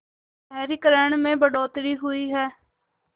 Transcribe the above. शहरीकरण में बढ़ोतरी हुई है